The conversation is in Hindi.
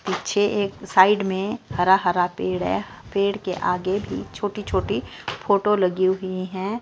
पीछे एक साइड में हरा हरा पेड़ है पेड़ के आगे भी छोटी छोटी फोटो लगी हुई हैं।